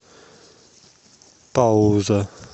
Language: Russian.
пауза